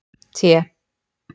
T